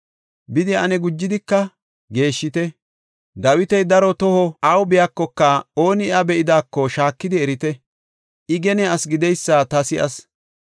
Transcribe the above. Bidi ane gujidika geeshshite; Dawiti daro toho awu biyakoka ooni iya be7idaako, shaakidi erite; I gene asi gideysa ta si7as.